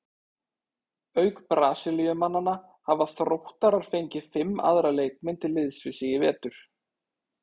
Auk Brasilíumannanna hafa Þróttarar fengið fimm aðra leikmenn til liðs við sig í vetur.